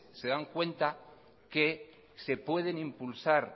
se dan cuenta que se pueden impulsar